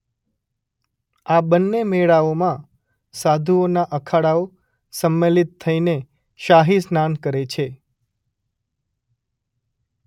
આ બન્ને મેળાઓમાં સાધુઓના અખાડાઓ સંમેલિત થઈને શાહી સ્નાન કરે છે.